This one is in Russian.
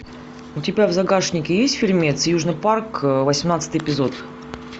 у тебя в загашнике есть фильмец южный парк восемнадцатый эпизод